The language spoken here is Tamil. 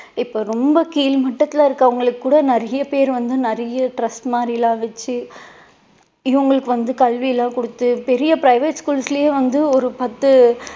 இப்போ ரொம்ப கீழ் மட்டத்துல இருக்கவங்களுக்கு கூட நிறைய பேரு வந்து நிறைய trust மாதிரியெல்லாம் வச்சு இவங்களுக்கு வந்து கல்வி எல்லாம் கொடுத்து பெரிய private schools லயே வந்து ஒரு பத்து